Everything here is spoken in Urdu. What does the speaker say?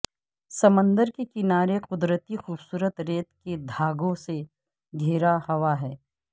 سمندر کے کنارے قدرتی خوبصورت ریت کے دھاگوں سے گھیرا ہوا ہے